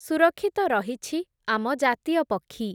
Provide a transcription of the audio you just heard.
ସୁରକ୍ଷିତ ରହିଛି ଆମ ଜାତୀୟ ପକ୍ଷୀ ।